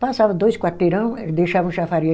Passava dois quarteirão e deixava o chafariz.